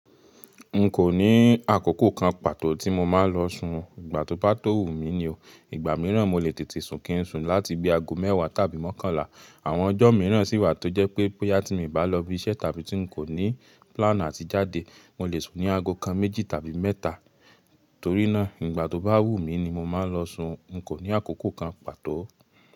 N kò ní àkókò kan pàtó tí mo máa ń lọ sun, ìgbà tó bá tó wù mí ni o. Ìgbà míràn mo lè tètè sun kí n sun láti bí aago mẹ́wàá tàbí mọ́kànlá. Àwọn ọjọ́ míràn sì wà tó jẹ́ pé, bóyá tí mo bá lọ ibi iṣẹ́ tàbí tí n kò ní plan àti jáde, mo lè sun ní aago kan méjì tàbí mẹ́ta. Torí náà, ìgbà tó bá wù mí ni mo máa ń lọ sun, n kò ní àkókò kan pàtó.